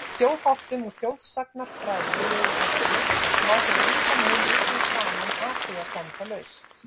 Þjóðháttum og þjóðsagnafræðilegu efni má fyrir engan mun rugla saman athugasemdalaust.